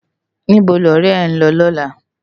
Nibó ni òrè è n lò lòlá?